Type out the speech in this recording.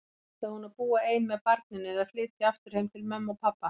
Ætlaði hún að búa ein með barninu, eða flytja aftur heim til mömmu og pabba?